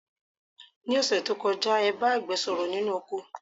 Ní òṣẹ̀ tó kọjá, ẹ bá àgbẹ̀ sọ̀rọ̀ nínú oko.